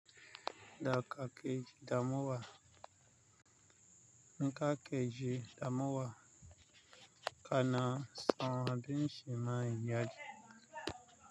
Da ka keji damuwa, nika keji damuwa kana son abin shiman iyaji.